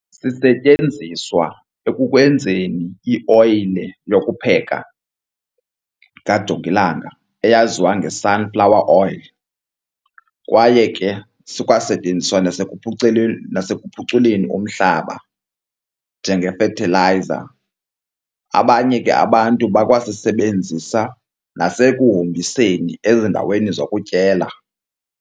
Sisetyenziswa ekukwenzeni ioyile yokupheka kajongilanga eyaziwa nge-sunflower oil kwaye ke sikwasetyenziswa nasekuphuculeni umhlaba njenge-fertilizer. Abanye ke abantu bakwasisebenzisa nasekuhombiseni ezindaweni zokutyela.